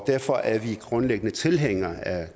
derfor er vi grundlæggende tilhængere af